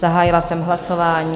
Zahájila jsem hlasování.